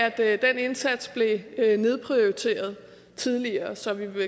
af at den indsats blev nedprioriteret tidligere så vi vil